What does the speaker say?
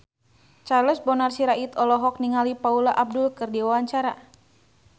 Charles Bonar Sirait olohok ningali Paula Abdul keur diwawancara